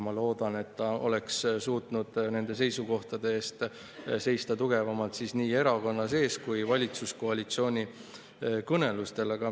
Ma loodan, et ta oleks suutnud nende seisukohtade eest seista tugevamalt nii erakonna sees kui valitsuskoalitsiooni kõnelustel.